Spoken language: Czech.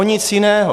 O nic jiného.